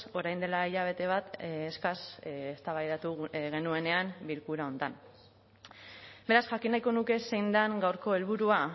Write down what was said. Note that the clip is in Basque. orain dela hilabete bat eskas eztabaidatu genuenean bilkura honetan beraz jakin nahiko nuke zein den gaurko helburua